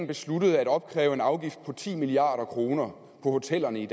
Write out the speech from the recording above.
besluttede at opkræve en afgift på ti milliard kroner på hotellerne i